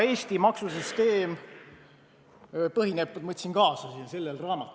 Eesti maksusüsteem põhineb sellel raamatul, ma võtsin selle kaasa.